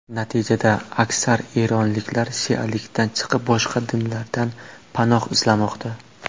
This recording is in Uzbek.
Natijada, aksar eronliklar shialikdan chiqib, boshqa dinlardan panoh izlamoqda.